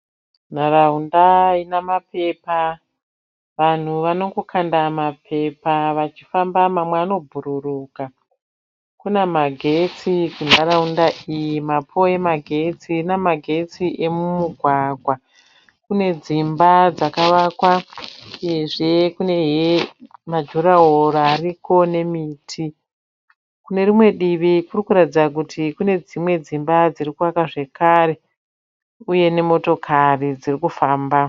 Nharaunda ine mapepa. Vanhu vanongokanda mapepa vachifamba mamwe anobhururuka. Kune magetsi munharaunda iyi. Mapoo emagetsi. Kune magetsi emumugwagwa. Kune dzimba dzakavakwa uyezve kune majuraho ariko nemiti. Kune rimwe divi kurikuratidza kuti kune dzimba dziri kuvakwa zvakare uye nemotokari dziri kufamba.